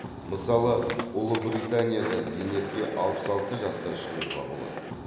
мысалы ұлыбританияда зейнетке алпыс алты жаста шығуға болады